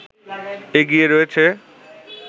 এগিয়ে রয়েছে